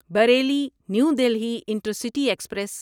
Bareilly new Delhi intercity express